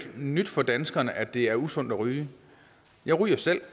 nyt for danskerne at det er usundt at ryge jeg ryger selv